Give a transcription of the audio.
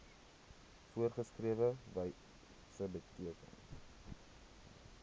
voorgeskrewe wyse beteken